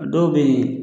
A dɔw bɛ yen